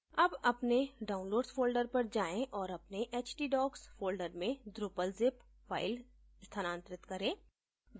अब अपने downloads folder पर जाएँ और अपने htdocs folder में drupal zip file स्थानांतरित करें